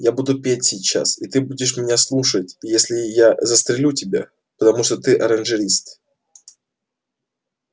я буду петь сейчас и ты будешь меня слушать и если я застрелю тебя потому что ты оранжист